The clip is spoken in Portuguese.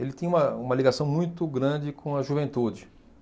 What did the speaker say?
Ele tinha uma uma ligação muito grande com a juventude.